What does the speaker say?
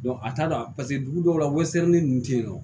a t'a dɔn paseke dugu dɔw la ninnu tɛ yen nɔ